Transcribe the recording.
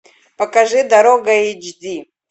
покажи дорога эйч ди